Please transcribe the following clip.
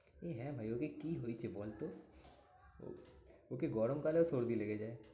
এই হ্যাঁ ভাই ওকে কি হয়েছে বলতো? ওর ওকে গরমকালেও সর্দি লেগে যায়।